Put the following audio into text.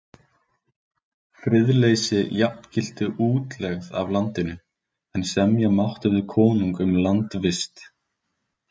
Friðleysi jafngilti útlegð af landinu, en semja mátti við konung um landvist.